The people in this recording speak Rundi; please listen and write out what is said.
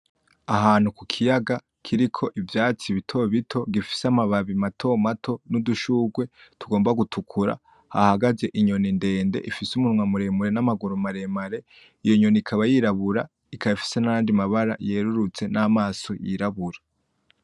Ahantu kukiyaga kiriko ivyatsi bitobito gifise amababi matomato n’udushurwe tugomba gutukura hahagaze inyoni ndende ifise umunwa muremure n’amaguru maremare, iyo nyoni ikaba yirabura ikaba ifise nayandi mabara yerurutse n’amaso yirabura.